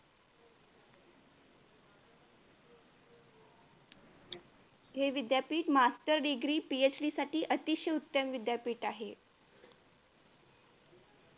हे विद्यापीठ master degreePHD साठी अतिशय उत्तम विद्यापीठ आहे.